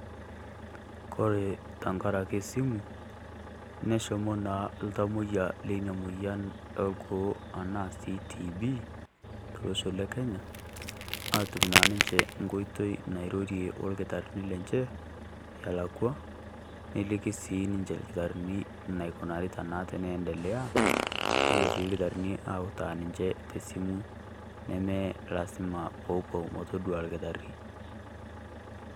Kore tang'araki simu neshomoo naa iltamoyia lenia moyian orgoo ana si TB tolosho le Kenya, atum na ninchee nkotoi nairorie olkitarini lenchee alaikwa nelikii sii ninchee ilkitarini naikunarita naa teneendelea. Nepoo sii ilitarini autaa ninchee te simu nemee lasima pee opoo metodua ilkitari.